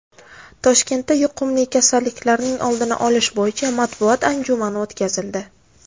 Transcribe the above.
Toshkentda yuqumli kasalliklarning oldini olish bo‘yicha matbuot anjumani o‘tkazildi.